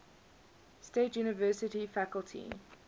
state university faculty